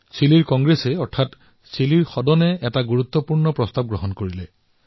চিলিৰ Congress অৰ্থাৎ তাৰে সংসদে এক প্ৰস্তাৱ গৃহীত কৰিছে